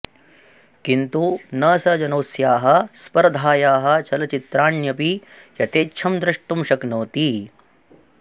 किन्तु न स जनोऽस्याः स्पर्धायाः चलचित्राण्यपि यथेच्छं द्रष्टुं शक्नोति